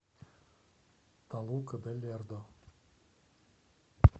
толука де лердо